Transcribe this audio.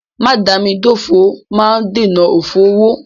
Mádàámidófò máa ń dènà òfò owó.